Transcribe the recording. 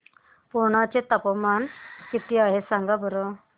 पुर्णा चे तापमान किती आहे सांगा बरं